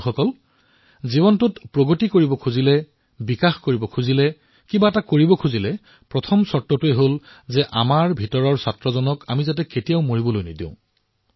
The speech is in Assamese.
বন্ধুসকল যদি আমি জীৱনত প্ৰগতি কৰিব বিচাৰো বিকাশ কৰিব বিচাৰো তেন্তে ইয়াৰ প্ৰথম চৰ্তটো হল আমাৰ অন্তৰৰ বিদ্যাৰ্থীক কেতিয়াও নোহোৱা কৰিব নালাগে